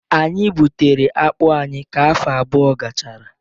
Anyị egbutere akpu anyị ka afọ abụọ gachara